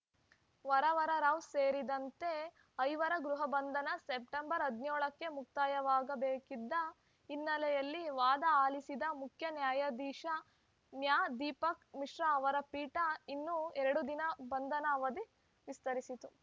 ವರವರರಾವ್‌ ಸೇರಿದಂತೆ ಐವರ ಗೃಹಬಂಧನ ಸೆಪ್ಟೆಂಬರ್ ಹದಿನೇಳ ಕ್ಕೆ ಮುಕ್ತಾಯವಾಗಬೇಕಿದ್ದ ಹಿನ್ನೆಲೆಯಲ್ಲಿ ವಾದ ಆಲಿಸಿದ ಮುಖ್ಯ ನ್ಯಾಯಾಧೀಶ ನ್ಯಾ ದೀಪಕ್‌ ಮಿಶ್ರಾ ಅವರ ಪೀಠ ಇನ್ನೂ ಎರಡು ದಿನ ಬಂಧನ ಅವಧಿ ವಿಸ್ತರಿಸಿತು